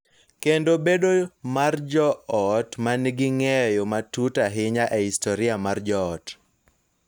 Kendo bedo mar joot ma nigi ng�eyo matut ahinya e historia mar joot.